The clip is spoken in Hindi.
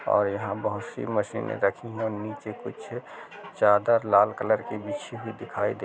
और यहाँ बहुत सी मशीने रखी हैं नीचे कुछ चादर लाल कलर की बिछी हुई दिखाई--